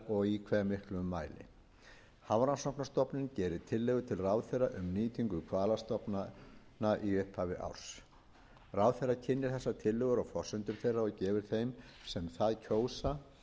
og í hve miklum mæli hafrannsóknastofnun gerir tillögur til ráðherra um nýtingu hvalastofnanna í upphafi árs ráðherra kynnir þessar tillögur og forsendur þeirra og gefur þeim sem það kjósa frest til að koma athugasemdum